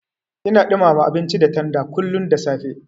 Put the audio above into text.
Ina ɗumama abinci da tanda kullun da safe.